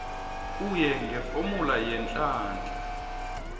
kuye ngefomula yeenhlahla